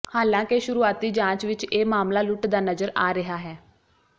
ਹਾਲਾਂਕਿ ਸ਼ੁਰੂਆਤੀ ਜਾਂਚ ਵਿੱਚ ਇਹ ਮਾਮਲਾ ਲੁੱਟ ਦਾ ਨਜ਼ਰ ਆ ਰਿਹਾ ਹੈ